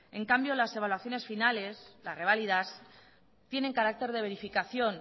en cambio las evaluaciones finales las reválidas tienen carácter de verificación